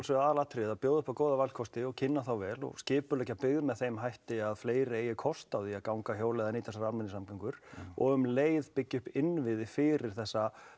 aðalatriðið að bjóða upp á góða valkosti og kynna þá vel skipuleggja byggð með þeim hætti að fleiri eigi kost á að ganga hjóla eða nýta almennar samgöngur og um leið byggja upp innviði fyrir þessa